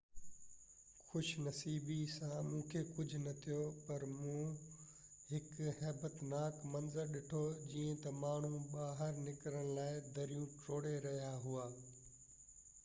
خوش نصيبي سان مونکي ڪجهہ نہ ٿيو پر مون هڪ هيبتناڪ منظر ڏٺو جيئن تہ ماڻهو ٻاهر نڪرڻ لاءِ دريون ٽوڙهي رهيا هئا